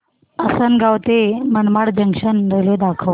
आसंनगाव ते Manmad junction railway दाखव